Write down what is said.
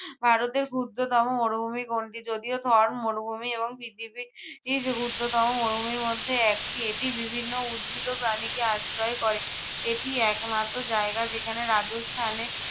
আহ ভারতের ক্ষুদ্রতম মরুভুমি কোনটি? যদিও থর মরুভুমি এবং পৃথিবীর ক্ষদ্রতম মরুভূমির মধ্যে একটি। এটি বিভিন্ন উদ্ভিদ ও প্রাণী কে আশ্রয় করে। এটি একমাত্র জায়গা যেখানে রাজস্থানে